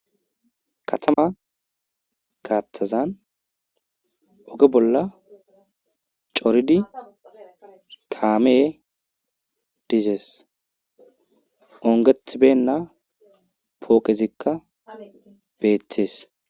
Katama gathazan oge bolla corid kaamey dizes, ongetibeyina poqeizika betes.